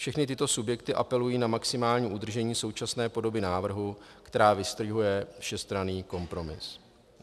Všechny tyto subjekty apelují na maximální udržení současné podoby návrhu, která vystihuje všestranný kompromis.